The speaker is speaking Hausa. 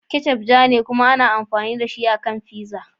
Ketchup ma ja ne kuma ana amfani da shi a kan pizza.